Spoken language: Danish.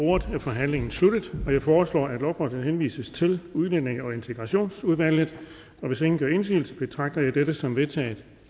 ordet er forhandlingen sluttet jeg foreslår at lovforslaget henvises til udlændinge og integrationsudvalget hvis ingen gør indsigelse betragter jeg dette som vedtaget